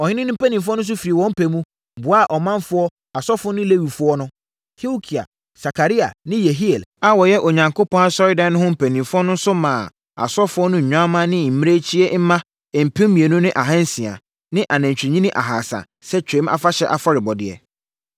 Ɔhene no mpanimfoɔ nso firi wɔn pɛ mu, boaa ɔmanfoɔ, asɔfoɔ ne Lewifoɔ no. Hilkia, Sakaria ne Yehiel a wɔyɛ Onyankopɔn Asɔredan no ho mpanimfoɔ nso maa asɔfoɔ no nnwammaa ne mmirekyie mma mpem mmienu ne ahansia ne anantwinini ahasa sɛ Twam Afahyɛ afɔrebɔdeɛ.